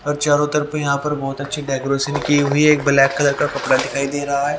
और चारों तरफ यहां पर बहुत अच्छी डेकोरेशन की हुई है एक ब्लैक कलर का कपड़ा दिखाई दे रहा है।